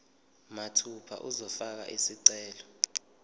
mathupha uzofaka isicelo